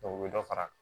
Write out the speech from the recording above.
u bɛ dɔ fara